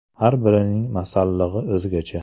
Har birining ‘masallig‘i’ o‘zgacha.